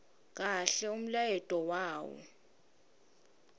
kahle umlayeto wawo